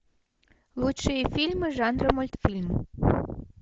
лучшие фильмы жанра мультфильм